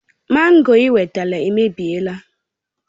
Mango ị wetara èmèbịèlà